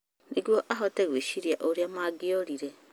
Nĩguo ahote gwĩciria ũrĩa mangiorire.